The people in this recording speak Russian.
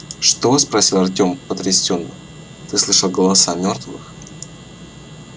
что спросил артём потрясенно ты слышал голоса мёртвых